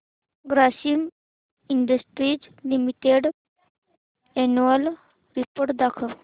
Grasim industries limited annual report दाखव